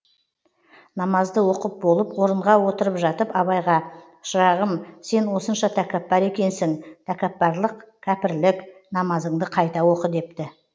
намазды оқып болып орынға отырып жатып абайға шырағым сен осынша тәкаппар екенсің тәкапарлық кәпірлік намазыңды қайта оқы депті